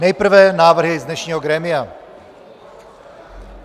Nejprve návrhy z dnešního grémia.